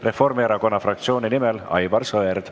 Reformierakonna fraktsiooni nimel Aivar Sõerd.